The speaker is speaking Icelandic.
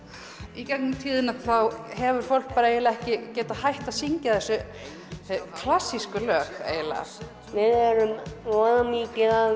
í gegnum tíðina hefur fólk eiginlega ekki getað hætt að syngja þessi klassísku lög eiginlega við erum voða mikið að